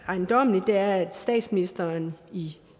ejendommeligt er at statsministeren i